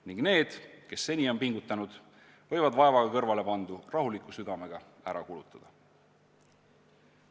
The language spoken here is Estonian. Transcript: Ning need, kes seni on pingutanud, võivad vaevaga kõrvale pandu rahuliku südamega ära kulutada.